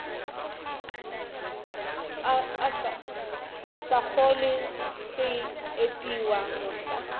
sa kgole se epiwa mohla